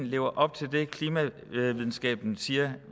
lever op til det klimavidenskaben siger